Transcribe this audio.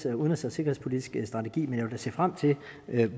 en udenrigs og sikkerhedspolitisk strategi men jeg vil da se frem til